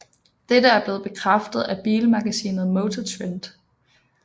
Dette er blevet bekræftet af bilmagasinet MotorTrend